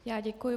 Já děkuji.